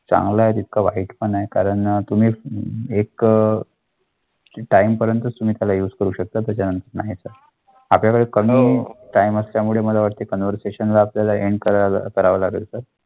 चांगलं आहे कारण तुम्ही एक. तुम्ही करू शकता. कन्वर्सेशन करावा लागेल.